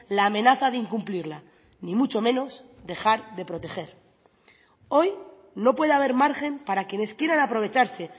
la amenaza de incumplirla ni mucho menos dejar de proteger hoy no puede haber margen para quienes quieran aprovecharse